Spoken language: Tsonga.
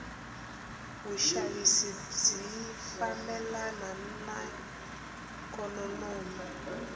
vushavisi bwifambelana naiknonomi